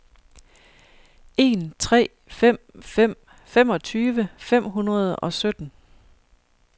en tre fem fem femogtyve fem hundrede og sytten